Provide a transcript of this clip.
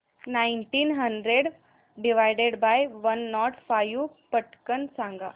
nineteen hundred divided by one nought five पटकन सांग